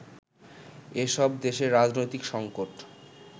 এসব দেশের রাজনৈতিক সঙ্কট